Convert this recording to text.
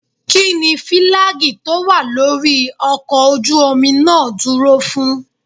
Kínní fílágì tó wà lórí ọkọ̀ ojú omi náà dúró fún?